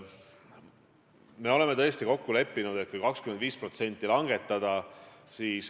Me oleme kokku leppinud, et aktsiisi 25% langetada.